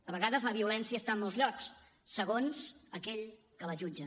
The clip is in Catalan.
a vegades la violència està en molts llocs segons aquell que la jutja